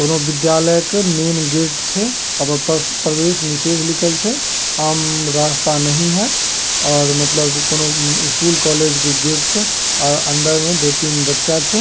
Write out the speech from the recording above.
कोनो विद्यालय के मैन गेट छै। ओय पर प्रवेश निषेध लिखल छै आम रास्ता नहीं है। और मतलब कोनो स्कूल कॉलेज के गेट छै और अंदर दो-तीन बच्चा छै।